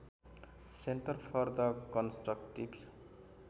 centre for the constructive